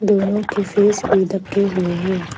दोनों की फेस भी ढके हुए हैं।